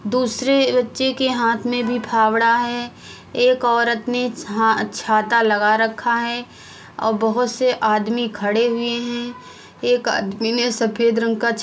दूसरे बच्चे के हाथ में भी फावड़ा है एक औरत ने छा-छाता लगा रखा है और बहुत से आदमी खड़े हुए है एक आदमी ने सफ़ेद रंग का --